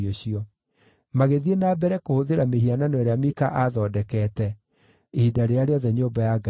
Magĩthiĩ na mbere kũhũthĩra mĩhianano ĩrĩa Mika aathondekete, ihinda rĩrĩa rĩothe nyũmba ya Ngai yarĩ Shilo.